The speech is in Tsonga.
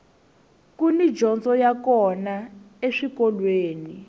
kuni dyondzo ya kona eswikolweni